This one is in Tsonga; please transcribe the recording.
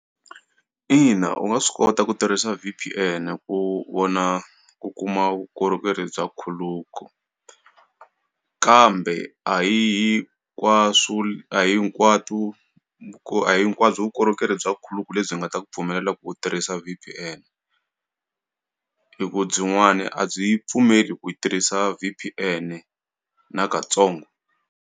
Ina, u nga swi kota ku tirhisa V_P_N ku vona ku kuma vukorhokeri bya khuluku kambe a hi hi hinkwaswo a hi hinkwato ku a hi hinkwabyo vukorhokeri bya khuluku lebyi nga ta ku pfumelela ku u tirhisa V_P_N hi ku byinwani a byi yi pfumeli ku hi tirhisa V_P_N na katsongo.